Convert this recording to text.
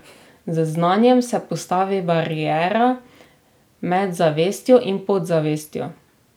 Z znanjem se postavi bariera med zavestjo in podzavestjo.